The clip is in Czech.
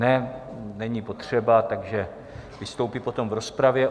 Ne, není potřeba, takže vystoupí potom v rozpravě.